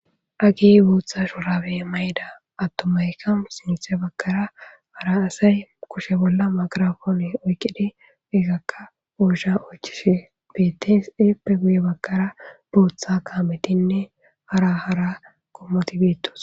Hagey boththa shrabe mayiday,atumaykka sintha bagara hara asay kushe bolla migroponne oyqidi herakka oysha oychishe bettes hepe guye bagara botha kametinne hara hara qomoti guye bagara bettosona.